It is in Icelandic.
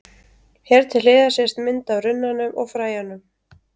Hér til hliðar sést mynd af runnanum og fræjunum.